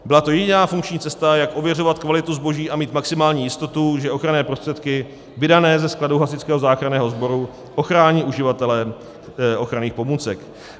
Byla to jediná funkční cesta, jak ověřovat kvalitu zboží a mít maximální jistotu, že ochranné prostředky vydané ze skladu Hasičského záchranného sboru ochrání uživatele ochranných pomůcek.